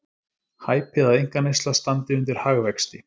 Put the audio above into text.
Hæpið að einkaneysla standi undir hagvexti